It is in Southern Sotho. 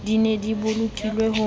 di ne di bolokilwe ho